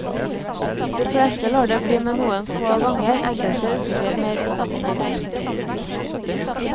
De fleste lar det bli med noen få ganger, enkelte utvikler mer omfattende bruk.